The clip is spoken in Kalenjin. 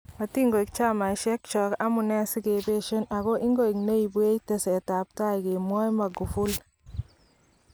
Matinkoek chamaisiek chook amunee sikebeesien ako ingoek neimubwech teset ab tai kamwae Magufuli.